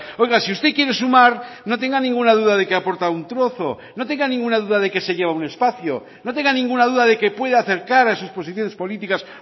oiga si usted quiere sumar no tenga ninguna duda de que aporta un trozo no tenga ninguna duda de que se lleva un espacio no tenga ninguna duda de que puede acercar a sus posiciones políticas